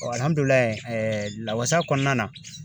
lawasa kɔnɔna na.